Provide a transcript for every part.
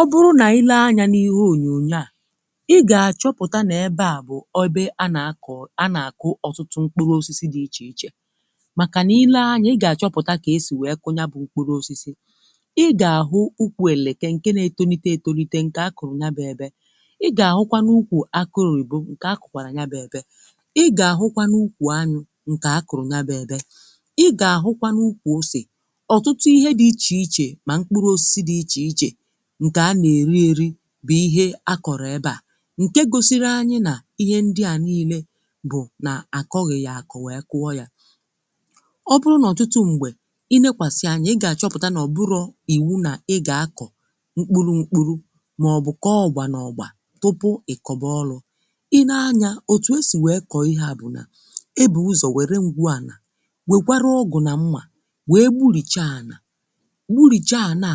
ọ bụrụ nà ile anyȧ n’ihu ònyònyo à ị gà-àchọpụ̀ta nà ebe à bụ̀ obe a nà-akụ̀ a nà-àkụ ọtụtụ mkpụrụ osisi dị̇ ichè ichè màkà nà ile anyà ị gà-àchọpụ̀ta kà esì wee kụnya bụ̇ mkpụrụ osisi ị gà-àhụ ụkwụ èlèkè ǹke nȧ-etolite etolite ǹkè a kụ̀rụ̀ n’ba ėbė ị gà-àhụkwanụ ụkwụ̀ akụ̀rụ̀ ìbụ̀ ǹkè a kụ̀kwàrà n’ba ėbė ị gà-àhụkwanụ ụkwụ̀ anụ̇ ǹkè akụ̀rụ̀ n’ba ėbė ị gà-àhụkwanụ ụkwụ̀ osì ọ̀tụtụ ihe dị̇ ichè ichè bụ̀ ihe akọ̀rọ̀ ebe à ǹke gosiri anyị nà ihe ndị à niile bụ̀ nà àkọghị̀ yà àkọ̀ nwèe kụọ yȧ ọ bụrụ n’ọ̀tụtụ m̀gbè i lekwàsị anya ị gà-àchọpụ̀ta nà ọ̀ bụrọ̇ iwu nà ị gà-akọ̀ mkpụrụ̇ mkpụrụ̇ màọ̀bụ̀ kọọ ọgbà nà ọ̀gbà tụpụ ị̀kọbọlụ̇ i nee anyȧ òtù esì nwèe kọ̀ọ ihe à bụ̀ nà ebė ụzọ̀ nwèrè ngwù ànà nwèkwarà ọgụ̀ nà mmà nwèe burìcha ànà burìcha ànà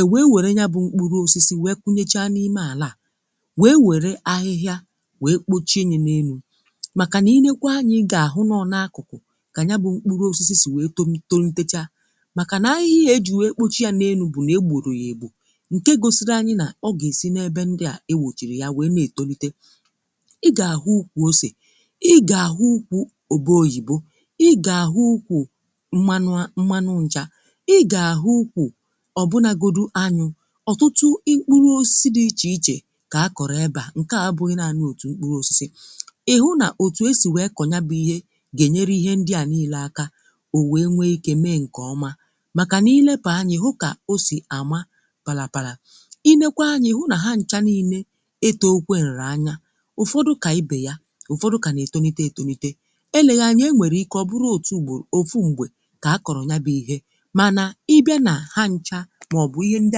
e wee wère ya bụ̇ mkpụrụ osisi wee kunyecha n’ime àlà à wee wère ahịhịa wee kpochie nye na-elu̇ màkà nà i leekwa anyị̇ ị gà-àhụ nà ọ n’akụ̀kụ̀ kà nye bụ̇ mkpụrụ osisi sì wee tom tolitecha màkà nà ahịhịa e jì wee kpochi ya n’elu̇ bụ̀ nà e gbòrò yà ègbò ǹke gosiri anyị nà ọ gà-èsi n’ebe ndị à e wòchìrì ya wee na-etolite ị gà-àhụ ùkwù osisi ị gà-àhụ ùkwù òbe oyìbo ị gà-àhụ ùkwù mmanu̇ mmanụ nchà ọtụtụ ịkpụrụ osisi dị iche ichė kà a kọ̀rọ̀ ebȧ ǹke à bụ̀ ịnaànụ òtù mkpụrụ osisi ị̀hụ nà òtù esì wèe kọ̀nya bụ̀ ihe gà-ènyere ihe ndị à niile aka o wee nwee ike mee ǹkè ọma màkà nà ilepà anyị hụ kà o sì àma palàpalà i nekwa anyị hụ nà ha ncha niile etòokwe nrì anya ụ̀fọdụ kà ibè ya ụ̀fọdụ kà nà etonite etonite eleghà anyị e nwèrè ike ọ bụrụ otu ùgbòrụ òfu mgbè kà a kọ̀rọ̀ ya bụ̇ ihe maọ̀bụ̀ ihe ndị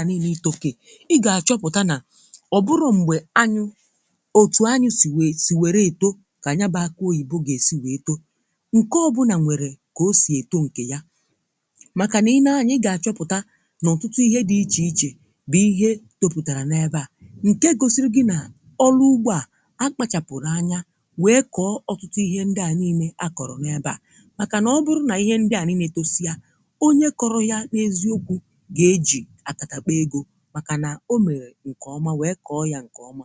à nille itokè ị gà-àchọpụ̀ta nà ọ bụrụ̀ m̀gbè anyụ̇ otù anyụ̇ sì wèè sì wère èto kà nya bàakọ oyìbo gà-èsi wèe too ǹke ọ bụrụ nà nwèrè kà o sì èto ǹkè ya màkà nà i nee anya ị gà-àchọpụ̀ta n’ọ̀tụtụ ihe dị̇ ichè ichè bụ̀ ihe tọpụ̀tàrà n’ebe à ǹke gosiri gị nà ọlụ ugbȯ à akpachapụ̀rụ̀ anya wee kọọ ọ̀tụtụ ihe ndị à niine akọ̀rọ̀ n’ebe à màkà nà ọ bụrụ̇ nà ihe ndị à niine tosịa onye kọrọ̀ ya n’eziokwu màkà nà o nà-ere ǹkèọma wee kọọ ya ǹkèọma